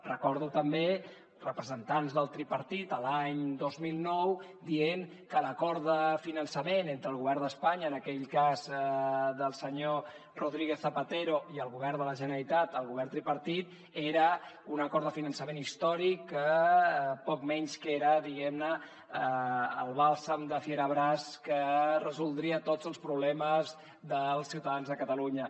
recordo també representants del tripartit l’any dos mil nou dient que l’acord de finançament entre el govern d’espanya en aquell cas del senyor rodríguez zapatero i el govern de la generalitat el govern tripartit era un acord de finançament històric que poc menys que era diguem ne el bàlsam de ferabràs que resoldria tots els problemes dels ciutadans de catalunya